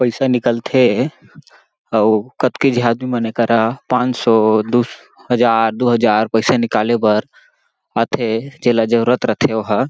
पैसा निकलथे अउ कतको झी आदमी मन ये करा पानसौ दू हज़ार दू हज़ार पैसा निकाले बर आथे जेला जरुरत रथे ओहा--